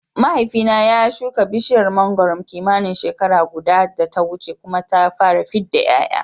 Mahaifina ya shuka bishiyar mangwaro kimanin shekara guda da ta wuce kuma ta fara fidda ƴaƴa